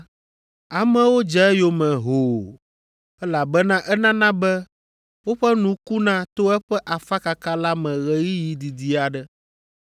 Amewo dze eyome hoo, elabena enana be woƒe nu kuna to eƒe afakaka la me ɣeyiɣi didi aɖe.